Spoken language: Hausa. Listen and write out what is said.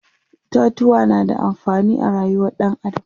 itatuwa na da amfani a rayuwar ɗan adam